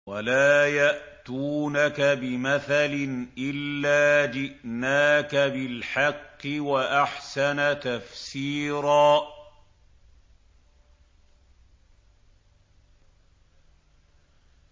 وَلَا يَأْتُونَكَ بِمَثَلٍ إِلَّا جِئْنَاكَ بِالْحَقِّ وَأَحْسَنَ تَفْسِيرًا